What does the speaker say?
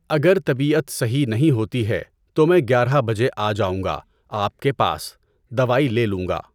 اگر طبیعت صحیح نہیں ہوتی ہے تو میں گیارہ بجے آ جاؤں گا آپ کے پاس، دواٮٔی لے لوں گا۔